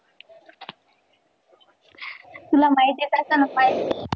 तुला म्हिती आहे का?